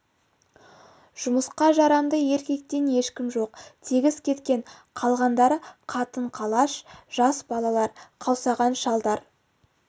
жұмысқа жарамды еркектен ешкім жоқ тегіс кеткен қалғандары қатын-қалаш жас балалар қаусаған шалдар